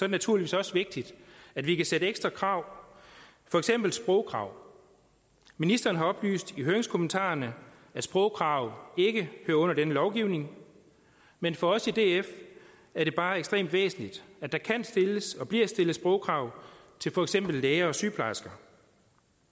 naturligvis også vigtigt at vi kan sætte ekstra krav for eksempel sprogkrav ministeren har oplyst i høringskommentarerne at sprogkrav ikke hører under denne lovgivning men for os i df er det bare ekstremt væsentligt at der kan stilles og bliver stillet sprogkrav til for eksempel læger og sygeplejersker